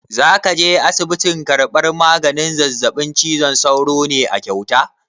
Za ka je asibitin karɓan maganin zazzaɓin cizon sauro ne a kyauta?